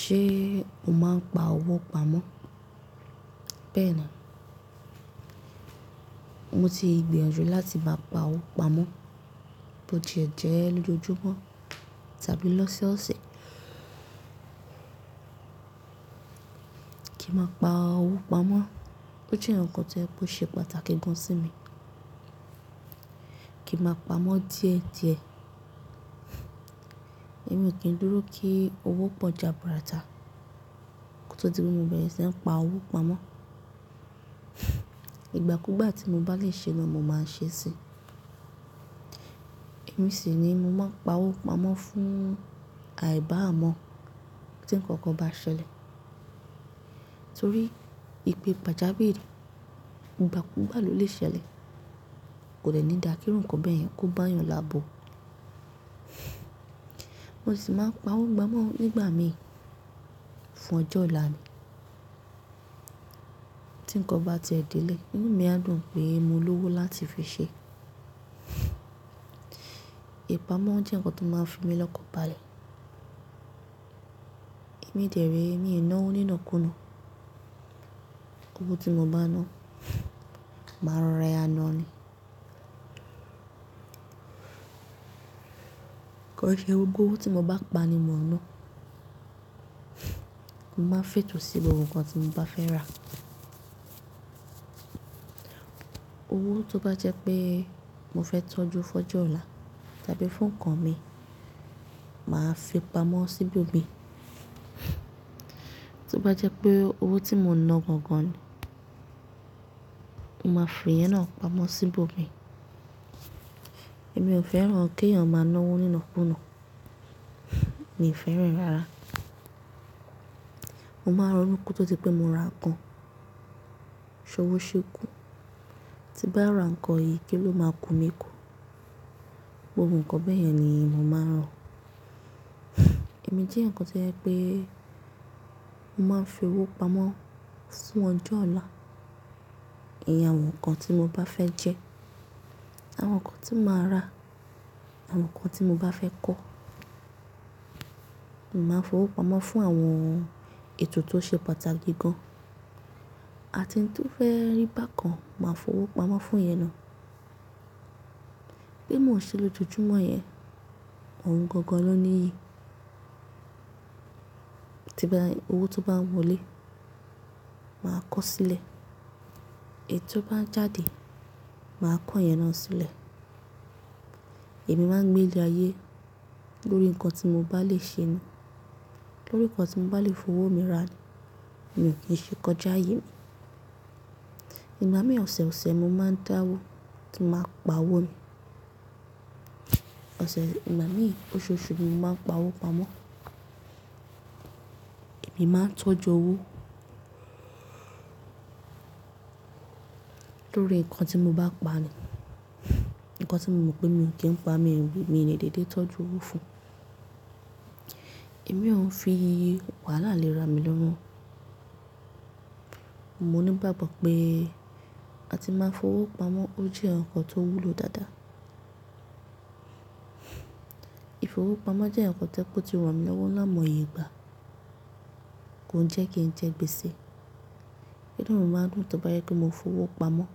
Ṣé o máa ń pa owó pamọ́? Bẹ́ẹ̀ni, mo ti ìgbiyànjú láti bá pa owó pamọ́ bó tie ẹ̀jẹ́ lójoojúmọ́ tàbí lọ́sọ́ọ̀sẹ̀. Kí máa pa owó pamọ́ ó jẹ́ ǹkan tó yẹ kó ṣe pàtàkì gan sí mi. Kí máa pamọ́ díẹ̀ díẹ̀, èmi kì í dúró kí owó pọ̀ jaburata kí n tó ti mu bẹ̀rẹ̀ síí pa owó pamọ́. Ìgbà kú gbà tí mo bá lè ṣe ẹ ni, mo máa ń ṣe ẹ́ sí i. Èmi sì ni mo máa ń pa owó pamọ́ fún àìbá à mọ́ tí ǹkan kan bá ṣẹlẹ̀. Torí ìpè gbàjáwiri igbà kú gbà ló lè ṣẹlẹ̀, kò dè ní dà kí ǹkan bẹ́ẹ̀ yẹn kó bá èèyàn labò. Mo sì máa ń pa owó pamọ́ nígbà mi fún ọjọ́ ọ̀la mi. Tí ǹkan bá ti ẹ̀ de ilẹ̀, inú mi á dùn pé mo ní owó láti fi ṣe é. Ìpamọ́ jẹ́ ǹkan tó máa ń fi mí lọ́kan-baálẹ̀. Èmi dẹ̀ree, èmi ì ná owó nínàkú náà. Owó tí mo bá ná, màá rẹ́ ẹ ná a ni. Kọ́ iṣẹ́ gbogbó, owó tí mo bá pa ni mo ná. Mo máa ń fẹ̀tò sí gbogbo ǹkan tí mo bá fẹ́ rà. Owó tó bá jẹ́ pé mo fẹ́ tọ́jú fọjú ọ̀la tàbí fún ǹkan mi, màá fi pamọ́ sí ibo mi. Tó bá jẹ́ pé owó tí mo ná gọ̀n gan ni, mo máa fi yẹn náà pamọ́ sí ibo mi. Èmi ò fẹ́ràn kí èèyàn máa ná owó nínàkú náà, mi ò fẹ́ràn rárá. Mo máa rọ̀nú kí ó tó di pé mo ra ǹkan, ṣọ owó ṣe kù. Tí bá ra ǹkan yìí, kí ló máa ku mi kú? Gbogbo ǹkan bẹ́ẹ̀ yẹn ni èmi máa ń rọ̀. Ẹ̀mí jẹ́ ǹkan tí ó yẹ pé mo máa ń fi owó pamọ́ fún ọjọ́ ọ̀la. Ìyen àwọn ǹkan tí mo bá fẹ́ jẹ, àwọn ǹkan tí màá rà, àwọn ǹkan tí mo bá fẹ́ kọ́. Mo máa ń fi owó pamọ́ fún àwọn ètò tó ṣe pàtàkì gan, àti ǹ tó fẹ́ rí bákan, màá fi owó pamọ́ fún iyen na. Bí mo ṣe lójoojúmọ́ yẹn, òun gangan ló ní iyì. Ti owó tó bá wọlé, màá kọ̀ ọ́ sílẹ̀. Ètò bá ń jáde, màá kọ́ iyen na sílẹ̀. Ẹ̀mí máa ń gbé ìle ayé lórí ǹkan tí mo bá lè ṣe ẹ́ ni, lórí ǹkan tí mo bá lè fi owó mi rà ni, èmi kì í ṣe kọjá yìí. Ìgbà mìíràn ọ̀sẹ̀, ọ̀sẹ̀ mo máa ń dáwó kí a máa pa owó ni. Ìgbà mìíràn ọṣọ́ọṣu ni mo máa ń pa owó pamọ́. Èmi máa ń tọ́jú owó lórí ǹkan tí mo bá pa ni, ǹkan tí mo mọ̀ pé èmi kì í pa mi, èmi ni dédé tọ́jú owó fún un. Èmi ò ń fi wàhálà léra mi lọ́mú. Mo ní ìgbàgbọ́ pé a ti máa ń fi owó pamọ́ ó jẹ́ ǹkan tó wúlò dáadáa. Ìfowópamọ́ jẹ́ ǹkan tó ti wà mí lọ́wọ́ láàmú ayé ìgbà, kò ń jẹ́ kí ń jẹ́ gbèsè. Ìnú mi máa dùn tọ́ bá yẹ pe mo fi owó pamọ́